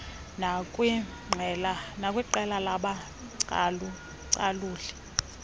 nakwiqela labacalu caluli